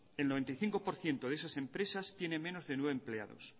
el noventa y cinco por ciento de esas empresas tiene menos de nueve empleados